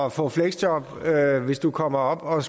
at få fleksjob hvis du kommer op og